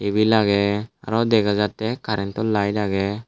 tebil agey aro dega jattey karento lite agey.